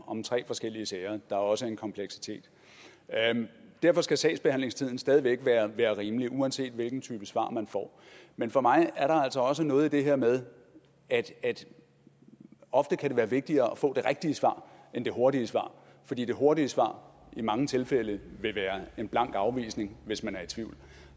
om tre forskellige sager der jo også har en kompleksitet derfor skal sagsbehandlingstiden stadig væk være rimelig uanset hvilken type svar man får men for mig er der altså også noget i det her med at det ofte kan være vigtigere at få det rigtige svar end det hurtige svar fordi det hurtige svar i mange tilfælde vil være en blank afvisning hvis man er i tvivl